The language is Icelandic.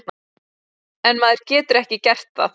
En maður getur ekki gert það.